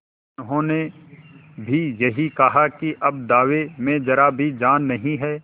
उन्होंने भी यही कहा कि अब दावे में जरा भी जान नहीं है